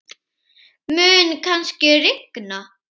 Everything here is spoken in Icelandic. Mun kannski rigna?